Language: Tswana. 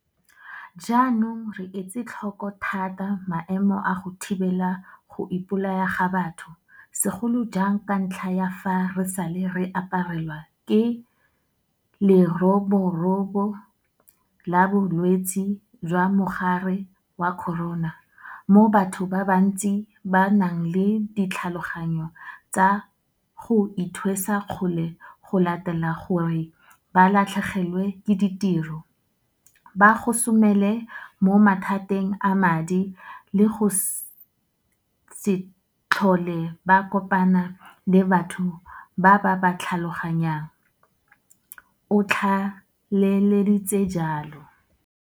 "Jaanong re etse tlhoko thata maemo a go thibela go ipo laya ga batho, segolo jang ka ntlha ya fa re sale re aparelwa ke Leroborobo la Bolwetse jwa Mogare wa Corona, mo batho ba bantsi ba nang le ditlhaloganyo tsa go ithwesa kgole go latela gore ba latlhegelwe ke ditiro, ba gosomele mo mathateng a madi le go se tlhole ba kopana le batho ba ba ba tlhaloganyang," o tlaleleditse jalo.